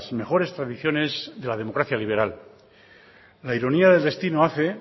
mejores tradiciones de la democracia liberal la ironía del destino hace